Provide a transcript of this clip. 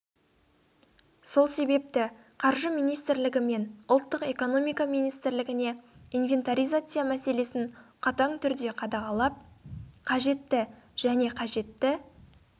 сол себепті қаржы министрлігі мен ұлттық экономика министрілігіне инвентаризация мәселесін қатаң түрде қадағалап қажетті және қажетті